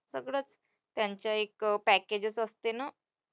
सगळंच त्यांचे एक package च असते ना,